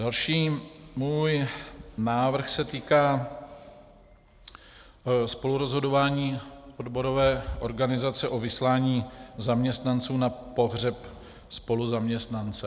Další můj návrh se týká spolurozhodování odborové organizace o vyslání zaměstnanců na pohřeb spoluzaměstnance.